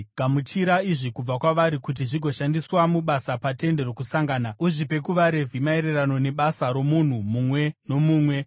“Gamuchira izvi kubva kwavari kuti zvigoshandiswa mubasa paTende Rokusangana. Uzvipe kuvaRevhi maererano nebasa romunhu mumwe nomumwe.”